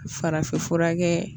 Farafinfura kɛ